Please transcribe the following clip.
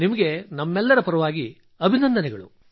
ನಿಮಗೆ ನಮ್ಮೆಲ್ಲರ ಪರವಾಗಿ ಅಭಿನಂದನೆಗಳು